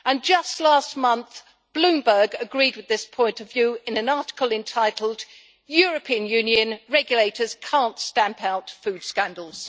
Just last month, Bloomberg agreed with this point of view in an article entitled Even European Union regulators can't stamp out food scandals'.